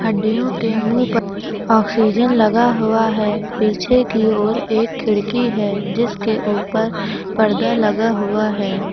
हड्डियों के ऑक्सीजन लगा हुआ है पीछे की ओर एक खिड़की है जिसके ऊपर पर्दा लगा हुआ है।